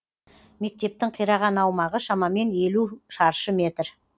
мектептің қираған аумағы шамамен елу шаршы метр